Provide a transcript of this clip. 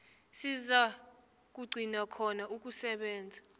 sizakugcina khona ukusebenza